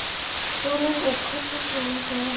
Sólrún. og kölluð Sóla, sagði þá Jón.